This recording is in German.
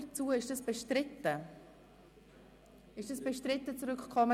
Die Abstimmungsfrage bleibt gleich;